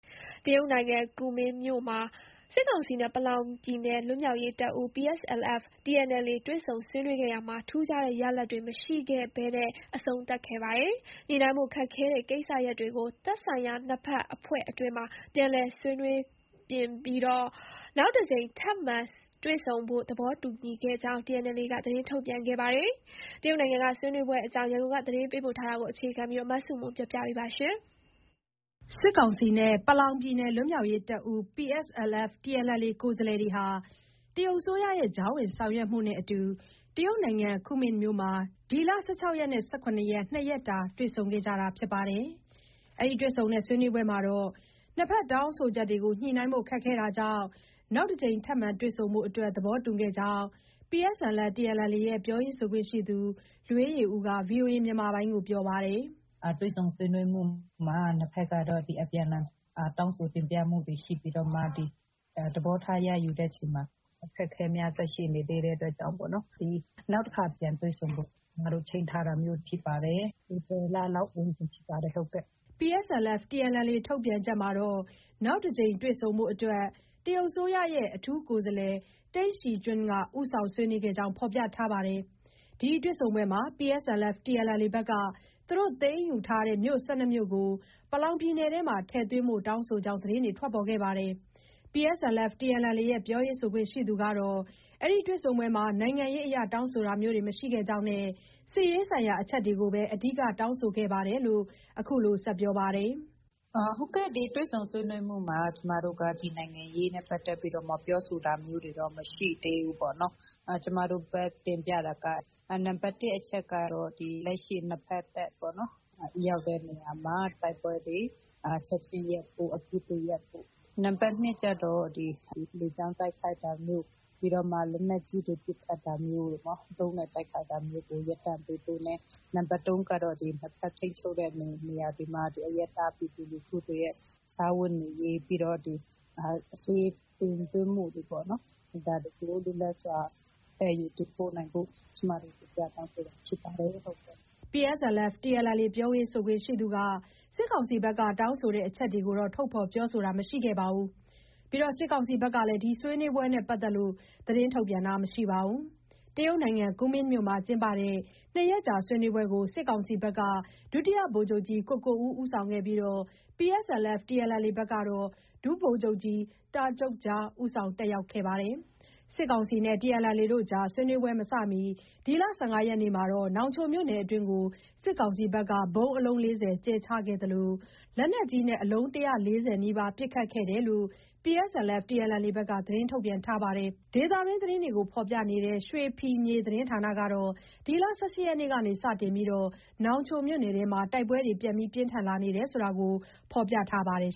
တရုတ်နိုင်ငံ ကူမင်းမြို့မှာ စစ်ကောင်စီနဲ့ ပလောင်ပြည်နယ်လွတ်မြောက်ရေးတပ်ဦး PSLF/TNLA တွေ့ဆုံဆွေးနွေးခဲ့ရာမှာ ထူးခြားတဲ့ရလဒ်တွေမရရှိခဲ့ဘဲ အဆုံးသတ်ခဲ့ပါတယ်။ညှိနှိုင်းဖို့ခက်ခဲတဲ့ကိစ္စရပ် တွေကို သက်ဆိုင်ရာ နှစ်ဘက် အဖွဲ့အတွင်းမှာ ပြန်လည်ဆွေးနွေးပြင်ဆင်ပြီး နောက်တကြိမ် ထပ်မံ တွေ့ဆုံဖို့ သဘောတူခဲ့ကြောင်းလည်း TNLA က သတင်းထုတ်ပြန်ခဲ့တာပါ။ တရုတ်နိုင်ငံကဆွေးနွေးပွဲ အကြောင်း ရန်ကုန်က သတင်းပေးပို့ထားတာကို အခြေခံပြီးတင်ပြထားပါတယ်။ စစ်ကောင်စီနဲ့ ပလောင်ပြည်နယ်လွတ်မြောက်ရေးတပ်ဦး PSLF/TNLA ကိုယ်စားလှယ်တွေဟာ တရုတ်အစိုးရရဲ့ ကြားဝင် ဆောင်ရွက်မှုနဲ့အတူ တရုတ်နိုင်ငံ ကူမင်းမြို့မှာ ဒီလ ၁၆ရက်နဲ့ ၁၇ ရက် နှစ်ရက်ကြာ တွေ့ဆုံခဲ့တာပါ။ ဒီဆွေးနွေးပွဲမှာ နှစ်ဘက်တောင်းဆိုချက်တွေကို ညှိနှိုင်းဖို့ခက်ခဲတာ ကြောင့် နောက်တကြိမ် ထပ်မံတွေ့ဆုံဖို့ သဘောတူခဲ့ကြောင်း PSLF/TNLA ရဲ့ ပြောရေးဆိုခွင့်ရှိသူ လွေးယေဦးက VOA ကို ပြောပါတယ်။ “တွေ့ဆုံဆွေးနွေးမှုမှာ နှစ်ဘက်ကတော့ အပြန်အလှန် တောင်းဆိုတင်ပြမှုတွေရှိပြီးတော့မှ သဘောထား ရယူတဲ့အချိန်မှာ အခက်အခဲများစွာရှိနေသေးတဲ့အတွက်ကြောင့်ပေါ့နော်။ နောက်တခါ ပြန်တွေ့ဆုံဖို့ ချိန်းထားတာမျိုးဖြစ်ပါတယ်။ ဧပြီလလောက်ဝန်းကျင်ဖြစ်ပါတယ်။ ” PSLF/TNLA ထုတ်ပြန်ချက်မှာတော့ နောက်တကြိမ်တွေ့ဆုံဖို့အတွက် တရုတ်အစိုးရရဲ့ အထူးကိုယ်စားလှယ်တိန့်ရှီကျွင်းက ဦးဆောင်ဆွေးနွေးခဲ့ကြောင်း ဖော်ပြထားပါတယ်။ ဒီတွေ့ဆုံပွဲမှာ PSLF/TNLA ဘက်က သူတို့ သိမ်းယူထားတဲ့ မြို့ ၁၂ မြို့ကို ပလောင်ပြည်နယ်အတွင်းမှာ ထည့်သွင်းဖို့ တောင်းဆိုကြောင်း သတင်းတွေ ထွက်ပေါ်ခဲ့ပါတယ်။ PSLF/TNLA ရဲ့ ပြောရေးဆိုခွင့် ရှိသူကတော့ ဒီတွေ့ဆုံပွဲမှာ နိုင်ငံရေးအရတောင်းဆိုတာမျိုးမရှိခဲ့ကြောင်းနဲ့ စစ်ရေးဆိုင်ရာ အချက်တွေကို အဓိက တောင်းဆိုခဲ့တယ်လို့လည်း အခုလို ဆက်ပြောပါတယ်။ “ဒီတွေ့ဆုံဆွေးနွေးမှုမှာ ကျမတို့က နိုင်ငံရေးနဲ့ ပတ်သက်ပြီးတော့မှ ပြောဆိုတာမျိုးတွေတော့ မရှိသေးဘူးပေါ့နော်။ ကျမတို့ဘက်က တင်ပြတာက နံပါတ် ၁ အချက်က လက်ရှိ နှစ်ဘက်တပ် ပေါ့နော်။ ရောက်တဲ့နေရာမှာ တိုက်ပွဲတွေချက်ချင်းရပ်ဖို့ အပစ်ရပ်ဖို့။ နံပါတ် ၂ အချက်ကျတော့ လေကြောင်း တိုက်ခိုက်တာတို့၊ လက်နက်ကြီးတွေ ပစ်ခတ်တာမျိုးတို့ ၊ ဒရုန်းနဲ့ တိုက်ခိုက်တာမျိုးတွေ ရပ်တန့်ပေးဖို့နဲ့ နံပါတ် ၃ အချက်ကတော့ နှစ်ဘက် ထိန်းချုပ်တဲ့နယ်မြေတွေက အရပ်သား ပြည်သူလူထုတွေရဲ့ စားဝတ်နေရေး၊ ပြီးတော့ ဆေးတင်သွင်းမှုတွေပေါ့နော်။ ဒါတွေကို လွတ်လပ်စွာ သယ်ယူတင်ပို့နိုင်ဖို့ ကျမတို့ တင်ပြတောင်းဆိုတာ ဖြစ်ပါတယ်။ ” PSLF/TNLA ပြောခွင့်ရသူက စစ်ကောင်စီဘက်က တောင်းဆိုတဲ့အချက်တွေကိုတော့ ထုတ်ဖော် ပြောဆိုတာမရှိခဲ့သလို စစ်ကောင်စီဘက်ကလည်း ဒီဆွေးနွေးပွဲနဲ့ ပတ်သက်ပြီး သတင်းထုတ်ပြန်တာ မရှိပါဘူး။ ကူမင်းမြို့မှာ ကျင်းပတဲ့နှစ်ရက်ကြာဆွေးနွေးပွဲကို စစ်ကောင်စီဘက်က ဒုတိယဗိုလ်ချုပ်ကြီး ကိုကိုဦးက ဦးဆောင်ခဲ့ပြီး PSLF/TNLA ဘက်ကတော့ ဒုဗိုလ်ချုပ်ကြီး တားဂျုတ်ဂျား ဦးဆောင်တက်ရောက်ခဲ့ပါတယ်။ စစ်ကောင်စီနဲ့ ဆွေးနွေးပွဲမမီ ဒီလ ၁၅ ရက်နေ့ညက နောင်ချိုမြို့နယ်အတွင်းမှာ စစ်ကောင်စီက လေကြောင်းက ဗုံးအလုံး ၄၀ ခန့် ကြဲချခဲ့သလို လက်နက်ကြီးနဲ့ အလုံး ၁၄၀ နီးပါး ပစ်ခတ်ခဲ့ကြောင်း PSLF/TNLA က သတင်းထုတ်ပြန်ထားပါတယ်။ ဒေသခံတွင်း သတင်းတွေကို ဖော်ပြနေတဲ့ ရွှေဖီမြေ သတင်းဌာနကတော့ ဒီလ ၁၈ ရက်နေ့က စတင်ပြီး နောင်ချိုမြို့နယ်အတွင်းမှာ တိုက်ပွဲတွေ ပြန်လည် ပြင်းထန်လာနေကြောင်း ဖော်ပြထားပါတယ်